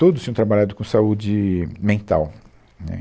Todos tinham trabalhado com saúde mental, né